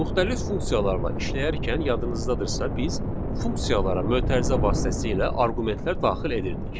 Müxtəlif funksiyalarla işləyərkən yadınızdadırsa, biz funksiyalara mötərizə vasitəsilə arqumentlər daxil edirdik.